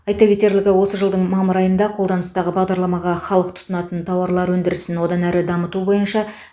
айта кетерлігі осы жылдың мамыр айында қолданыстағы бағдарламаға халық тұтынатын тауарлар өндірісін одан әрі дамыту бойынша